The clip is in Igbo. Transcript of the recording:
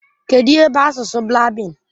Kedụ ihe bụ asụsụ Blaabin?